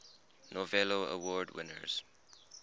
novello award winners